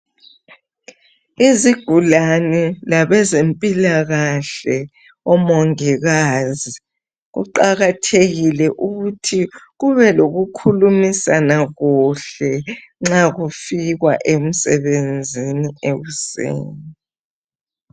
Izigulani, labezempilakahle omongikazi, kuqakathekile ukuthi kube lokukhulumisana kuhle nxa kufikwa emsebenzini ekuseni.